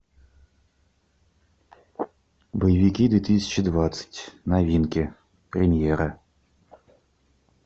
боевики две тысячи двадцать новинки премьеры